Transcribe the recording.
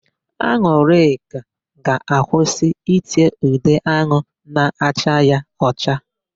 An̄ụlịka ga-akwụsị íté ude áhụ̀ na-acha ya ọcha.